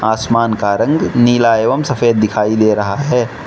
आसमान का रंग नीला एवं सफेद दिखाई दे रहा है।